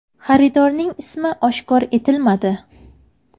Xaridorning ismi oshkor etilmadi.